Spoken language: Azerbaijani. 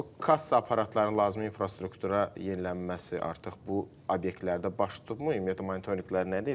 Bəs o kassa aparatlarının lazımi infrastruktura yenilənməsi artıq bu obyektlərdə baş tutdumu, ümumiyyətlə monitorinqlər nə deyir?